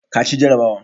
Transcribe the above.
ka ci jarrabawa?